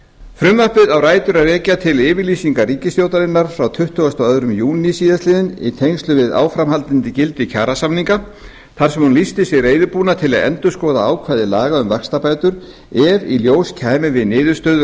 frumvarpið á rætur sínar að rekja til yfirlýsingar ríkisstjórnarinnar frá tuttugasta og öðrum júní síðastliðinn í tengslum við áframhaldandi gildi kjarasamninga þar sem hún lýsti sig reiðubúna til að endurskoða ákvæði laga um vaxtabætur ef í ljós kæmi við